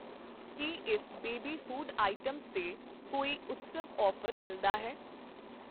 ਕੀ ਇਸ baby food items ਤੇ ਕੋਈ ਉਤਸਵ ਆਫ਼ਰ ਮਿਲਦਾ ਹੈ ?